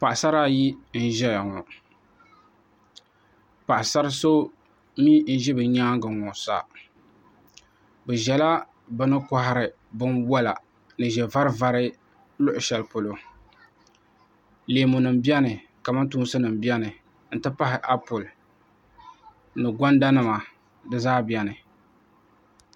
Paɣasara ayi n ʒɛya ŋo paɣasari so mii n ʒi bi nyaangi ŋo sa bi ʒɛla bi ni kohari binwola ni ʒɛ vari vari luɣu shɛli polo leemu nim biɛni kamantoosi nim biɛni n ti pahi applɛ ni konda nima